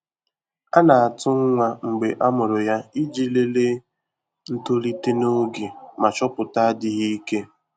A na-atụ nwa mgbe a mụrụ ya iji lelee ntolite n'oge ma chọpụta adịghị ike.